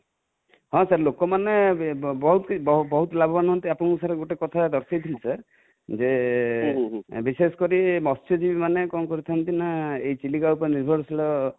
ହଁ sir ଲୋକମାନେ ବହୁତ ଲାଭବାନ ହୁଅନ୍ତି, ଆପଣଙ୍କୁ sir ଗୋଟେ କଥା ଦର୍ଶେଇ ଥିଲି sir ଯେ ବିଶେଷକରି ମତ୍ସ୍ୟଯିବୀ ମାନେ କଣ କରିଥାନ୍ତି ନା ଏ ଚିଲିକା ଉପରେ ନିର୍ଭରଶୀଳ ରହିଛନ୍ତି